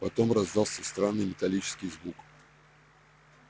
потом раздался странный металлический звук